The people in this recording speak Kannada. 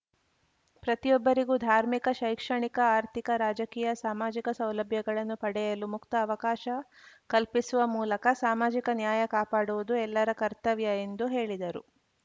ಪ್ರತಿಯೊಬ್ಬರಿಗೂ ಧಾರ್ಮಿಕ ಶೈಕ್ಷಣಿಕ ಆರ್ಥಿಕ ರಾಜಕೀಯ ಸಾಮಾಜಿಕ ಸೌಲಭ್ಯಗಳನ್ನು ಪಡೆಯಲು ಮುಕ್ತ ಅವಕಾಶ ಕಲ್ಪಿಸುವ ಮೂಲಕ ಸಾಮಾಜಿಕ ನ್ಯಾಯ ಕಾಪಾಡುವುದು ಎಲ್ಲರ ಕರ್ತವ್ಯ ಎಂದು ಹೇಳಿದರು